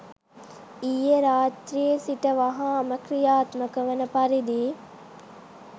ඊයේ රාත්‍රියේ සිට වහාම ක්‍රියාත්මක වන පරිදි